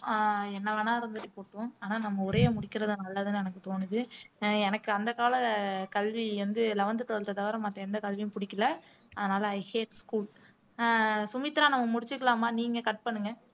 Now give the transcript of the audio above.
ஆஹ் அது என்னவோ ஆஹ் என்ன வேணா இருந்துட்டு போகட்டும் ஆனா நம்ம உரையை முடிக்கிறது நல்லதுன்னு எனக்கு தோணுது ஆஹ் எனக்கு அந்த கால கல்வி வந்து eleventh twelfth அ தவிர மத்த எந்த கல்வியும் புடிக்கல அதனால i hate school ஆஹ் சுமித்ரா நம்ம முடிச்சுக்கலாமா நீங்க cut பண்ணுங்க